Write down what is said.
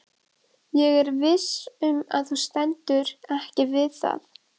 Ég er viss um að þú stendur ekki við það.